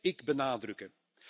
Dat blijf ik benadrukken.